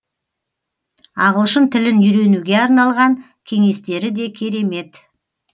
ағылшын тілін үйренуге арналған кеңестері де керемет